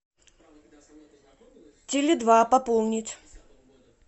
теле два пополнить